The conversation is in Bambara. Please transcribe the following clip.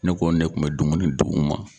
Ne ko ne kun bɛ dumuni d'u ma.